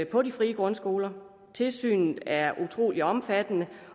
på de frie grundskoler tilsynet er utrolig omfattende